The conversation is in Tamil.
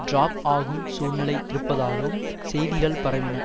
டிராப் ஆகும் சூழ்நிலை இருப்பதாகவும் செய்திகள் பரவின